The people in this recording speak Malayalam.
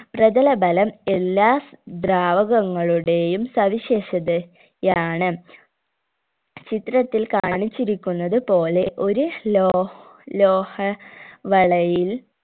പ്രതലബലം എല്ലാ ദ്രാവകങ്ങളുടെയും സവിശേഷത യാണ് ചിത്രത്തിൽ കാണിച്ചിരിക്കുന്നത് പോലെ ഒരു ലോ ലോഹ വളയിൽ